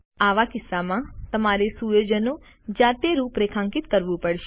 આવા કિસ્સામાં તમારે સુયોજનો જાતે રૂપરેખાંકિત કરવું પડશે